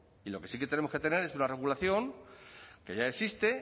y lo que sí que tenemos que tener es una regulación que ya existe